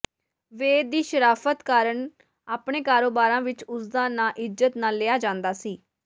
ਵੇਦ ਦੀ ਸ਼ਰਾਫ਼ਤ ਕਾਰਨ ਆਪਣੇ ਕਾਰੋਬਾਰਾ ਵਿੱਚ ਉਸ ਦਾ ਨਾਂ ਇੱਜ਼ਤ ਨਾਲ ਲਿਆ ਜਾਂਦਾ ਸੀ